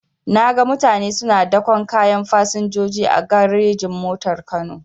Naga mutane suna daƙon kayan fasinjoji a garejin-motar kano.